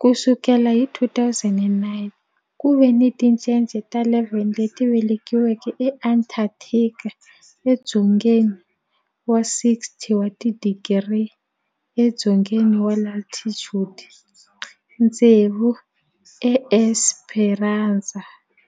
Ku sukela hi 2009, ku ve ni tincece ta 11 leti velekiweke eAntarctica, edzongeni wa 60 wa tidigri edzongeni wa latitude, tsevu eEsperanza